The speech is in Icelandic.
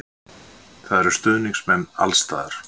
Það eru stuðningsmenn alls staðar.